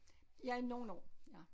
Ja nogle år ja